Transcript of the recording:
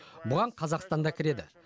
бұған қазақстан да кіреді